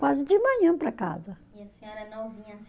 Quase de manhã para casa. E a senhora, não vinha